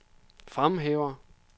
fremhæver